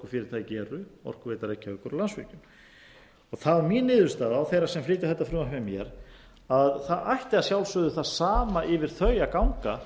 reykjavíkur og landsvirkjun það var mín niðurstaða og þeirra sem flytja þetta frumvarp með mér að það ætti að sjálfsögðu það sama yfir þau að ganga